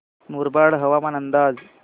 मुरबाड हवामान अंदाज